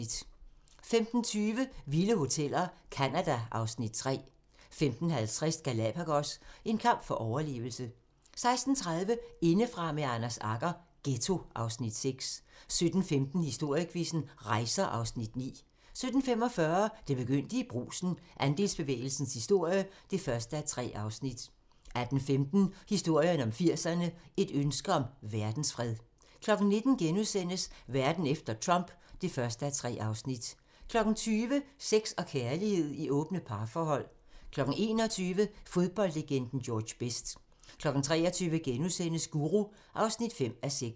15:20: Vilde hoteller - Canada (Afs. 3) 15:50: Galapagos - en kamp for overlevelse 16:30: Indefra med Anders Agger - Ghetto (Afs. 6) 17:15: Historiequizzen: Rejser (Afs. 9) 17:45: Det begyndte i Brugsen - Andelsbevægelsens historie (1:3) 18:15: Historien om 80'erne: Et ønske om verdensfred 19:00: Verden efter Trump (1:3)* 20:00: Sex og kærlighed i åbne parforhold 21:00: Fodboldlegenden George Best 23:00: Guru (5:6)*